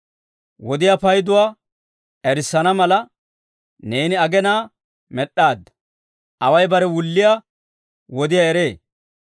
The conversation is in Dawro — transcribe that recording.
Wodiyaa payduwaa erissana mala, neeni aginaa med'd'aadda. Away bare wulliyaa wodiyaa eree.